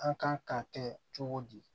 An kan ka kɛ cogo di